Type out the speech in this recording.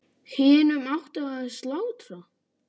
Hinum átti að slátra.